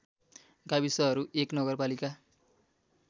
गाविसहरू १ नगरपालिका